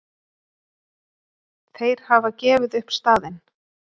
Þeir hafa gefið upp staðinn!